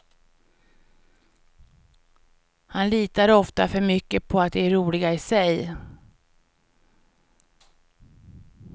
Han litar ofta för mycket på att de är roliga i sig.